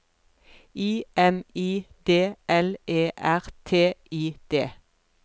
I M I D L E R T I D